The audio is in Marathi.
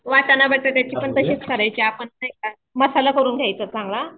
वाटाणा बटाट्याची तशीच करायची आपण नाही का मसाला करून घ्यायचा चांगला.